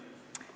Aitäh!